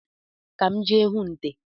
Ka m jee hụ nte